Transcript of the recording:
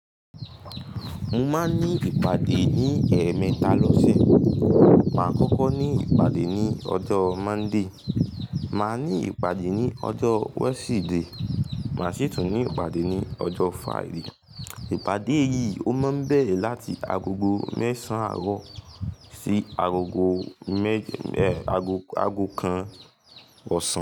Mo máa ń ní ìpàdé ní ẹ̀ẹ̀mẹta lọ́sẹ̀. Màá kọ́kọ́ ní ìpàdé ní ọjọ́ Monday, màá ní ìpàdé ní ọjọ́ Wednesday, màá sì tún ní ìpàdé ní ọjọ́ Friday. Ìpàdé yìí ó máa ń bẹ̀rẹ̀ láti agogo mẹ́sàn àárọ̀ sí agogo mẹ́je, aago, aago kan ọ̀sán.